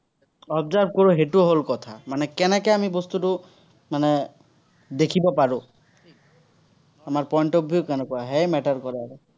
observe কৰো, সেইটো হ'ল কথা। মানে কেনেকে আমি বস্তুটো মানে, দেখিব পাৰো। আমাৰ point of view কেনেকুৱা সেয়াই matter কৰে আৰু